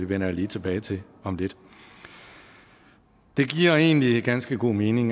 vender jeg lige tilbage til om lidt det giver egentlig ganske god mening